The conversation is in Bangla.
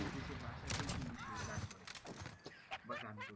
দেশের ভাষাতেই কিন্তু সে গান করে বা গান করেছে।